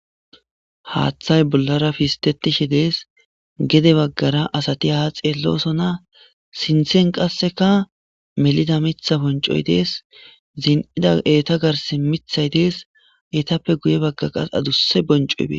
Haaththay bollara pistetishe dees gede baggara asati haxeellosona sinthen qasseka melida mitha boncoy dees zin'ida eeta garsi mithay dees eetappe guye bagga qas aduse boncoybee.